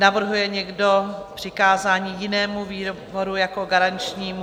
Navrhuje někdo přikázání jinému výboru jako garančnímu?